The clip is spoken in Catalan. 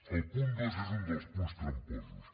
el punt dos és un dels punts tramposos